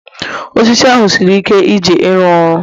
osisi ahu siri ike Iji ịrụ ọrụ